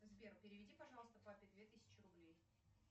сбер переведи пожалуйста папе две тысячи рублей